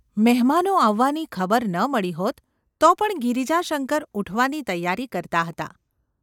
મહેમાનો આવવાની ખબર ન મળી હોત તો પણ ગિરિજાશંકર ઊઠવાની તૈયારી કરતા હતા.